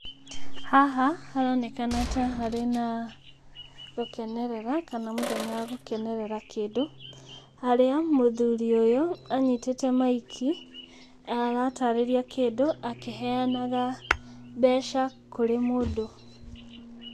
Haha haronekana ta harĩ na gũkenerera kana mũthenya wa gũkenerera kĩndũ, harĩa mũthuri ũyũ anyitĩte maiki aratarĩria kĩndũ akĩheanaga mbeca kũrĩ mũndũ.